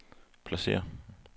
pladsér